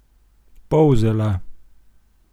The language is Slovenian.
Polzela?